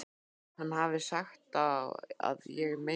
Hann hafi sagt: Á ég að meiða þig?